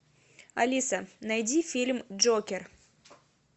алиса найди фильм джокер